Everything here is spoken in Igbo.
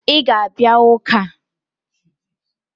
Ị ga-abịa ụka!